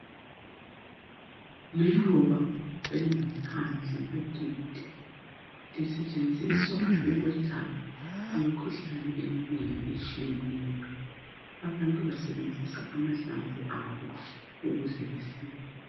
liluba elingaphandle kwegedi lisetshenziswa ukwelapha imikhuhlane eminengi etshiyeneyo abantu basebenzisa amahlamvu abo ukuze basile